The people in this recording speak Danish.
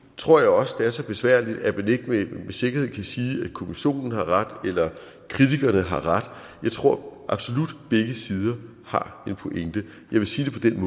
tror jeg også det er så besværligt at man ikke med sikkerhed kan sige at kommissionen har ret eller at kritikerne har ret jeg tror absolut begge sider har en pointe jeg vil sige det